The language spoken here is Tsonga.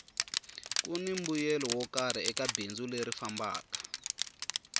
kuni mbuyelo wo karhi eka bindzu leri fambaka